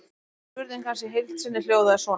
Spurning hans í heild sinni hljóðaði svona: